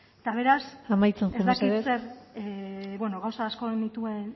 eta beraz amaitzen joan mesedez ez dakit zer bueno gauza asko nituen